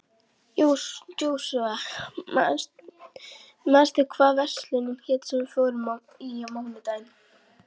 Jósúa, manstu hvað verslunin hét sem við fórum í á mánudaginn?